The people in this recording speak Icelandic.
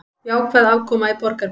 Jákvæð afkoma í Borgarbyggð